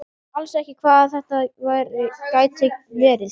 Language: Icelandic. Hún skildi alls ekki hvað þetta gæti verið.